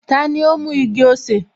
Tani ó mú igi-osè?